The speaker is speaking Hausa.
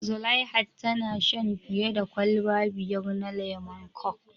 Zulaiha tana shan fiya da kwalba biyar na lemon kok